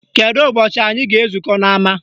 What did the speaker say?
Kedu ụbọchị anyị ga-ezukọ n'ama